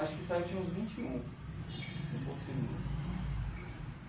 Acho que saí, eu tinha uns vinte e um em Porto Seguro.